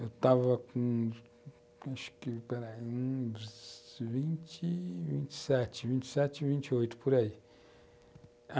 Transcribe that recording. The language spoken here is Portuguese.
Eu estava com acho que, pera aí, 27, 28, por aí.